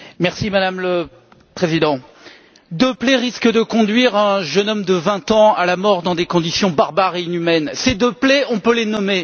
Madame la Présidente, deux plaies risquent de conduire un jeune homme de 20 ans à la mort dans des conditions barbares et inhumaines. Ces deux plaies, on peut les nommer.